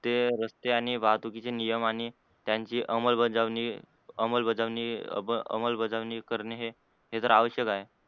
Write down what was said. ते रस्ते आणि वाहतुकीचे नियम आणि त्यांची अमल बजावणी अमल बजावणी अमल बजावणी करणे हे तर आवश्यक आहे.